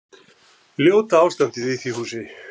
Ljóta ástandið í því húsi.